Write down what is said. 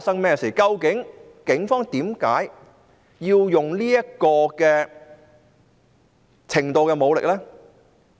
究竟警方為何要用這種程度的武力？